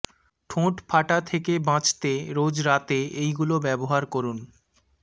ঠোঁট ফাটা থেকে বাঁচতে রোজ রাতে এইগুলো ব্যাবহার করুন